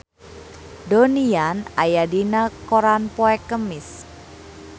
Donnie Yan aya dina koran poe Kemis